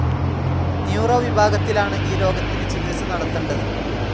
Neuro വിഭാഗത്തിലാണ് ഈ രോഗത്തിന് ചികിത്സ നടത്തണ്ടത്.